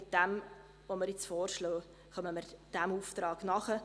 Mit dem, was wir jetzt vorschlagen, kommen wir diesem Auftrag nach.